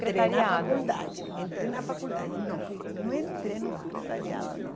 Já entrei na faculdade, entrei na faculdade, não, não entrei no secretariado, não.